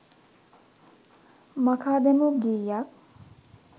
මකා දැමූ ගීයක්